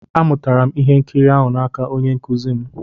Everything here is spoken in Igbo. Amụtara m ihe nkiri ahụ n'aka onye nkụzi m.